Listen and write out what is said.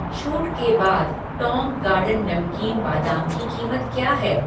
छूट के बाद टौंग गार्डन नमकीन बादाम की कीमत क्या है?